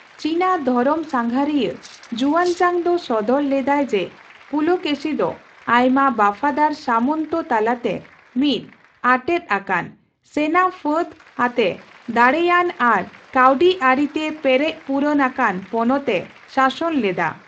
ᱪᱤᱱᱟ ᱫᱷᱚᱨᱚᱢᱥᱟᱜᱷᱟᱸᱨᱤᱭᱟᱹ ᱡᱩᱭᱟᱱᱡᱟᱝ ᱫᱚ ᱥᱚᱫᱚᱨ ᱞᱮᱫᱟᱭ ᱡᱮ ᱯᱩᱞᱚᱠᱮᱥᱤ ᱫᱚ ᱟᱭᱢᱟ ᱵᱟᱯᱷᱟᱫᱟᱨ ᱥᱟᱢᱚᱱᱛᱚ ᱛᱟᱞᱟᱛᱮ ᱢᱤᱫ ᱟᱴᱮᱫ ᱟᱠᱟᱱ, ᱥᱮᱱᱟᱼᱯᱷᱟᱹᱫᱽ ᱟᱛᱮ ᱫᱟᱲᱮᱭᱟᱱ ᱟᱨ ᱠᱟᱹᱣᱰᱤᱟᱹᱨᱤ ᱛᱮ ᱯᱮᱨᱮᱪᱼᱯᱩᱨᱩᱱ ᱟᱠᱟᱱ ᱯᱚᱱᱚᱛ ᱮ ᱥᱟᱥᱚᱱ ᱞᱮᱫᱟ ᱾